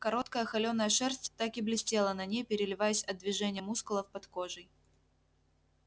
короткая холёная шерсть так и блестела на ней переливаясь от движения мускулов под кожей